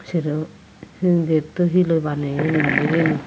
sero hindito hilloi baneyon mili mili.